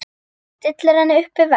Stillir henni upp við vegg.